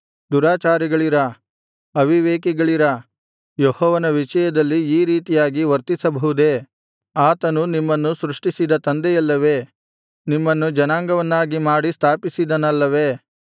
ದುರಾಚಾರಿಗಳಿರಾ ಅವಿವೇಕಿಗಳಿರಾ ಯೆಹೋವನ ವಿಷಯದಲ್ಲಿ ಈ ರೀತಿಯಾಗಿ ವರ್ತಿಸಬಹುದೇ ಆತನು ನಿಮ್ಮನ್ನು ಸೃಷ್ಟಿಸಿದ ತಂದೆಯಲ್ಲವೇ ನಿಮ್ಮನ್ನು ಜನಾಂಗವನ್ನಾಗಿ ಮಾಡಿ ಸ್ಥಾಪಿಸಿದನಲ್ಲವೇ